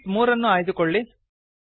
sheet 3 ಅನ್ನು ಆಯ್ದುಕೊಳ್ಳಿ